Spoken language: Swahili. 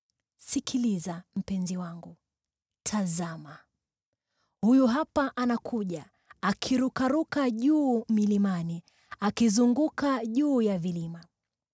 Sikiliza! Mpenzi wangu! Tazama! Huyu hapa anakuja, akirukaruka juu milimani akizunguka juu ya vilima.